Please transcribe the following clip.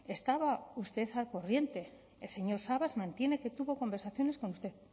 estaba usted al corriente el señor sabas mantiene que tuvo conversaciones con usted